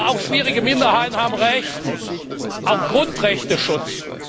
Aber auch schwierige Minderheiten haben ein Recht auf Grundrechteschutz.